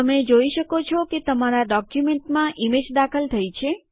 તમે જોઈ શકો છો કે તમારા ડોક્યુમેન્ટમાં ઇમેજ દાખલ થઇ છે